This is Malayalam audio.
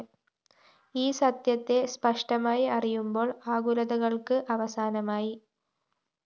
ഈ സത്യത്തെ സ്പഷ്ടമായി അറിയുമ്പോള്‍ ആകുലതകള്‍ക്ക് അവസാനമായി